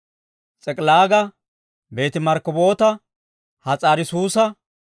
S'ik'ilaaga, Beeti-Markkaboota, Has'aari-Suusa,